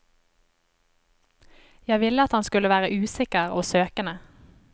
Jeg ville at han skulle være usikker og søkende.